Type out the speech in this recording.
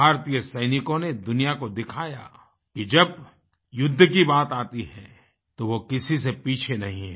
भारतीय सैनिकों ने दुनिया को दिखाया कि जब युद्ध की बात आती है तो वह किसी से पीछे नहीं हैं